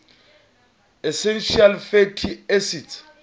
essential fatty acids